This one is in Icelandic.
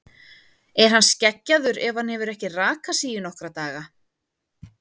Er hann skeggjaður ef hann hefur ekki rakað sig í nokkra daga?